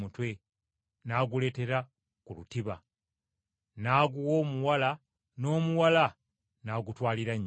n’aguleeteera ku lutiba, n’aguwa omuwala n’omuwala n’agutwalira nnyina.